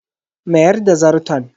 Mayar da Zarton.